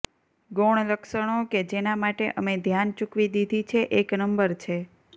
ગૌણ લક્ષણો કે જેના માટે અમે ધ્યાન ચૂકવી દીધી છે એક નંબર છે